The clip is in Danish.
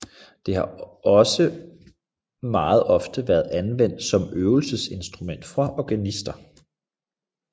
Det har også meget ofte været anvendt som øveinstrument for organister